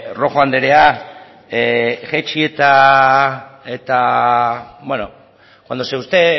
rojo anderea jaitsi eta beno cuando usted